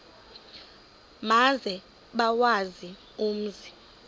maze bawazi umzi